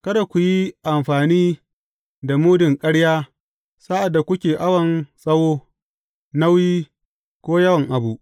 Kada ku yi amfani da mudun ƙarya sa’ad da kuke awon tsawo, nauyi, ko yawan abu.